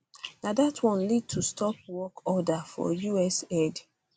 na dat one lead to stop work order for usaid